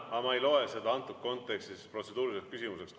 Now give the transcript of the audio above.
Aga ma ei loe seda antud kontekstis protseduuriliseks küsimuseks.